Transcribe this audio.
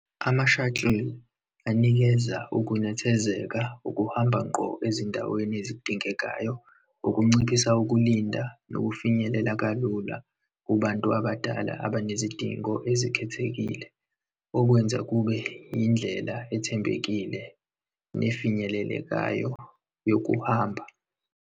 Ama-shuttle anikeza ukunethezeka, ukuhamba ngqo ezindaweni ezidingekayo, ukunciphisa ukulinda nokufinyelela kalula kubantu abadala abanezidingo ezikhethekile, okwenza kube indlela ethembekile nefinyelelekayo yokuhamba.